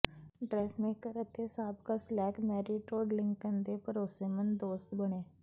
dressmaker ਅਤੇ ਸਾਬਕਾ slave Mary Todd Lincoln ਦੇ ਭਰੋਸੇਮੰਦ ਦੋਸਤ ਬਣੇ